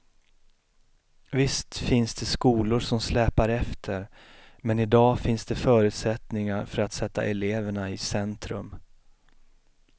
Visst finns det skolor som släpar efter, men i dag finns det förutsättningar för att sätta eleverna i centrum.